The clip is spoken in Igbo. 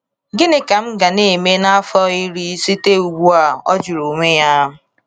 ‘Gịnị ka m ga na-eme n’afọ iri site ugbu a?’ o jụrụ onwe ya.